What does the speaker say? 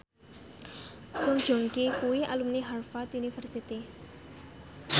Song Joong Ki kuwi alumni Harvard university